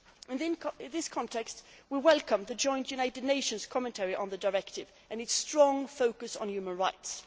In this context, we welcome the joint United Nations commentary on the Directive and its strong focus on human rights.